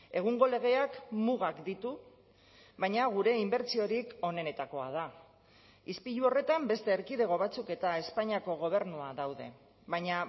egungo legeak mugak ditu baina gure inbertsiorik onenetakoa da ispilu horretan beste erkidego batzuk eta espainiako gobernua daude baina